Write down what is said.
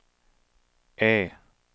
E